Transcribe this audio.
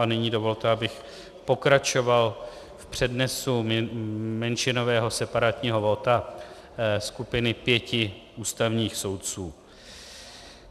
A nyní dovolte, abych pokračoval v přednesu menšinového separátního vota skupiny pěti ústavních soudců.